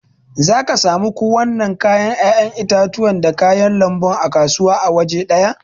Zaka samu ku wanna kalan 'ya'yan itatuwa da kayan lanbu a kasuwa awaje daya.